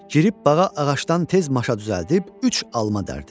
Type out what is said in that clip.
Girib bağa ağacdan tez maşa düzəldib üç alma dərdi.